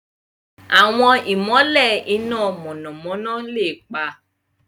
Àwọn ìmọ̀lẹ̀ iná mọ̀nàmọ́ná lè pa.